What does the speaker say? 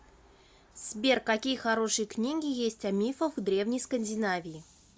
сбер какие хорошие книги есть о мифах древней скандинавии